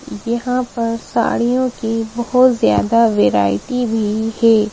यहां पर साड़ियों की बहुत ज्यादा वैरायटी भी है।